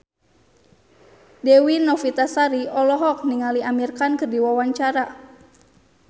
Dewi Novitasari olohok ningali Amir Khan keur diwawancara